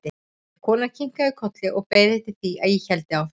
En konan kinkaði bara kolli og beið eftir því að ég héldi áfram.